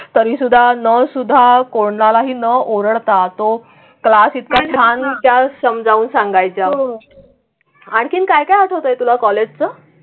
तरीसुद्धा नो सुद्धा कोणालाही न ओरडता तो क्लास इतका छान त्या समजावून सांगायच्या होत्या. आणखीन काय काय होतंय तुला कॉलेजचं?